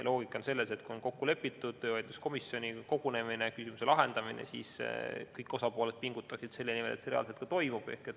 Loogika on selles, et kui on kokku lepitud töövaidluskomisjoni kogunemine, küsimuse lahendamine, siis kõik osapooled pingutaksid selle nimel, et see reaalselt ka toimub.